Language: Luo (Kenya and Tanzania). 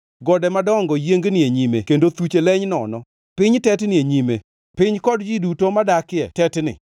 Gode madongo yiengni e nyime kendo thuche leny nono. Piny tetni e nyime, piny kod ji duto madakie tetni.